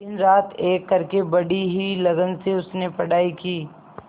दिनरात एक करके बड़ी ही लगन से उसने पढ़ाई की